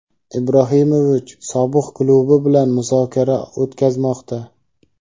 Ibrahimovich sobiq klubi bilan muzokara o‘tkazmoqda.